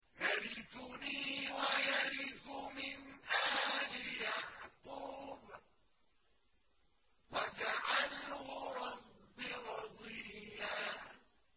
يَرِثُنِي وَيَرِثُ مِنْ آلِ يَعْقُوبَ ۖ وَاجْعَلْهُ رَبِّ رَضِيًّا